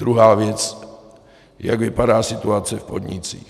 Druhá věc, jak vypadá situace v podnicích.